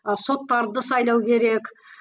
ы соттарды сайлау керек